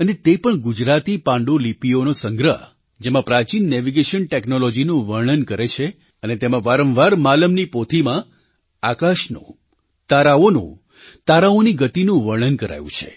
અને તે પણ ગુજરાતી પાંડુલિપિઓનો સંગ્રહ જેમાં પ્રાચીન નેવિગેશન ટૅક્નૉલૉજીનું વર્ણન કરે છે અને તેમાં વારંવાર માલમની પોથીમાં આકાશનું તારાઓનું તારાઓની ગતિનું વર્ણન કરાયું છે